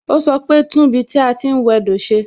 O sọ pe "tún ibi tí a ti ń wẹ do ṣe"